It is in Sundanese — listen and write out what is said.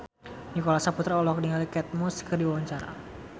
Nicholas Saputra olohok ningali Kate Moss keur diwawancara